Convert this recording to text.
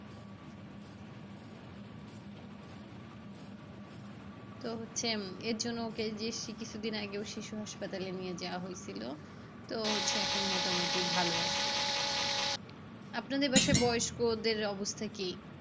তো হচ্ছে উম এর জন্য যে কিছুদিন আগে শিশু হাসপাতালে নিয়ে যাওয়া হয়েছিল তো হচ্ছে এখন মোটামুটি ভালো আছে। আপনাদের বাসায় বয়স্কদের অবস্থা কি?